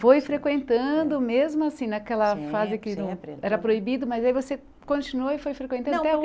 Foi frequentando mesmo assim, naquela fase que no era proibido, mas aí você continuou e foi frequentando até